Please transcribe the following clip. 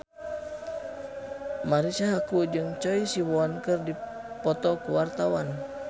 Marisa Haque jeung Choi Siwon keur dipoto ku wartawan